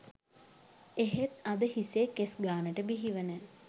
එහෙත් අද හිසේ කෙස් ගාණට බිහිවන